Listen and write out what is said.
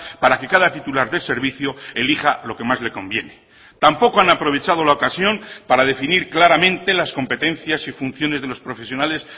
para que cada titular de servicio elija lo que más le conviene tampoco han aprovechado la ocasión para definir claramente las competencias y funciones de los profesionales